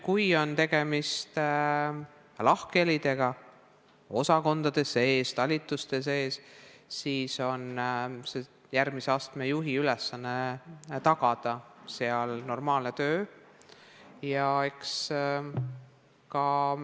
Kui tegemist on osakondade ja talituste sees esinevate lahkhelidega, siis on järgmise astme juhi ülesanne tagada seal normaalne töö.